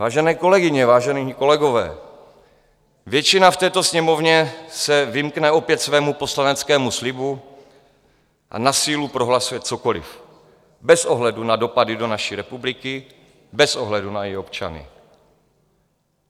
Vážené kolegyně, vážení kolegové, většina v této Sněmovně se vymkne opět svému poslaneckému slibu a na sílu prohlasuje cokoliv, bez ohledu na dopady do naší republiky, bez ohledu na její občany.